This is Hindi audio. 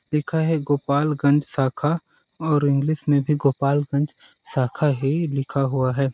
लिखा है गोपालगंज शाखा और इंग्लिश में भी गोपालगंज शाखा ही लिखा हुआ हैं।